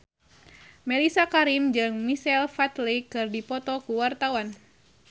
Mellisa Karim jeung Michael Flatley keur dipoto ku wartawan